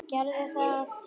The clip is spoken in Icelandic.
Gerðu það!